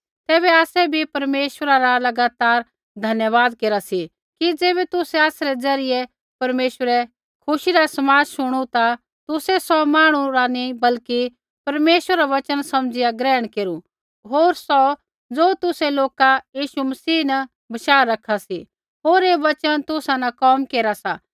तैबै आसै बी परमेश्वरा रा लगातार धन्यवाद केरा सी कि ज़ैबै तुसै आसरै ज़रियै परमेश्वरै खुशी रा समाद शुणु ता तुसै सौ मांहणु रा नी बल्कि परमेश्वरा रा वचन समझ़िया ग्रहण केरू होर सौ ज़ो तुसै लोका यीशु मसीह न बशाह रखा सी होर ऐ वचन तुसा न कोम केरा सा